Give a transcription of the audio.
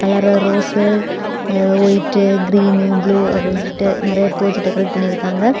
நர rose white green blue அப்டிசொல்லிட்டு நிறைய பூ வச்சு டெக்கரேட் பண்ணி இருக்காங்க.